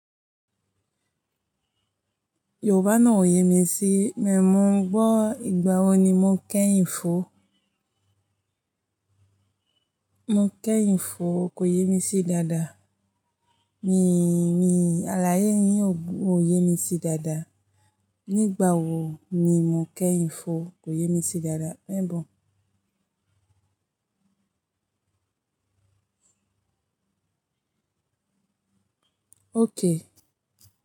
Yorùbá náà ò yé mi sí, mẹ́mọ gbọ́, ìgbà wo ni mo kẹ́yìn fò? Mo kẹ́yìn fò kò yé mi sí dáadáa. Mi, mi aláyé yín ò yé mi sí dáadáa. Nígbà wo ni mo kẹ́yìn fò? Kò yé mi sí dáadáa okay.